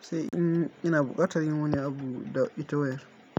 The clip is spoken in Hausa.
sai in ina buƙatar yin wani abu da itewer.